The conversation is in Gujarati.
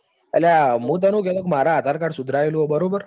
અલ્યા હું તને શું કેતો હતો કે મારે આધાર card સ્ય્ધારાયેલું છે બરાબર.